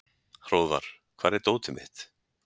Hróðvar, hvar er dótið mitt?